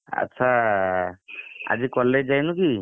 ଆଚ୍ଛା ଆଜି college ଯାଇନୁ କି?